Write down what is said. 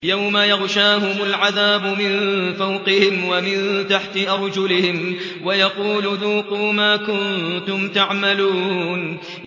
يَوْمَ يَغْشَاهُمُ الْعَذَابُ مِن فَوْقِهِمْ وَمِن تَحْتِ أَرْجُلِهِمْ وَيَقُولُ ذُوقُوا مَا كُنتُمْ تَعْمَلُونَ